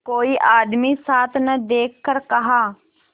कोई आदमी साथ न देखकर कहा